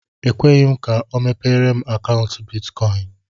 E kweghi m ka ọ mepere m akaụntu bịtkọin